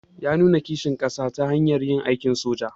Ya nuna kishin kasa ta hanyar yin aikin soja.